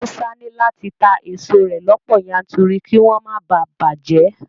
Musa ní láti ta èso rẹ̀ lọ́pọ̀ yanturu kí wọ́n má bàa bàjẹ́